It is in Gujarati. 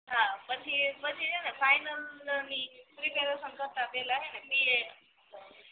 હા હા પછી સે ને ફાઇનલ ની પ્રેપરેસન કરતાં પેલા સે ને પી એ